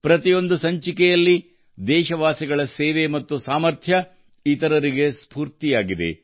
ಪ್ರತಿಯೊಂದು ಸಂಚಿಕೆಯಲ್ಲಿ ದೇಶವಾಸಿಗಳ ಸೇವೆ ಮತ್ತು ಸಾಮರ್ಥ್ಯ ಇತರರಿಗೆ ಸ್ಫೂರ್ತಿಯಾಗುತ್ತದೆ